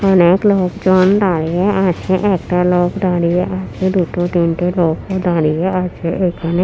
অনেক লোকজন দাঁড়িয়ে আছে একটা লোক দাঁড়িয়ে আছে দুটো তিনটে লোকও দাঁড়িয়ে আছে এখানে।